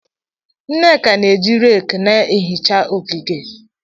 Nneke na-eji rake na-ehicha ogige.